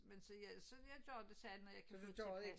Men så jeg gør det så når jeg kan få det til at passe